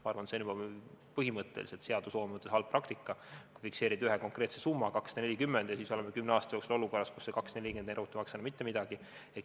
Ma arvan, et see on juba põhimõtteliselt seadusloome mõttes halb praktika, sest fikseerime ühe konkreetse summa, 240, ja siis oleme kümne aasta pärast olukorras, kus see 240 eurot ei maksa enam mitte midagi.